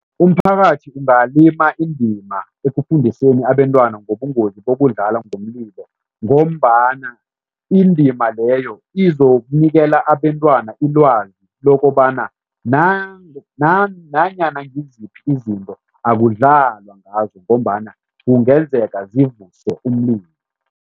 Umphakathi ungalima indima ekufundiseni abentwana ngobungozi bokudlala ngomlilo ngombana indima leyo izokunikela abentwana ilwazi lokobana nanyana ngiziphi izinto, akudlalwa ngazo ngombana kungenzeka zivuse umlilo.